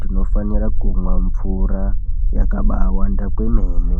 tinofanira kumwa mvura yakabawanda kwemene